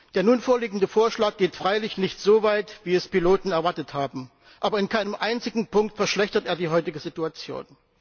Der nun vorliegende Vorschlag geht freilich nicht so weit, wie es Piloten erwartet haben, aber in keinem einzigen Punkt verschlechtert er die heutige Situation.